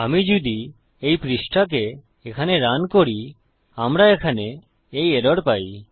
আমি যদি এই পৃষ্ঠাকে এখানে রান করি আমরা এখানে এই এরর পাই